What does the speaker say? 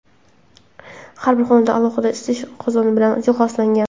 Har bir xonadon alohida isitish qozoni bilan jihozlangan.